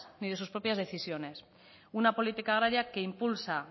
ni de sus propias decisiones una política agraria que impulsa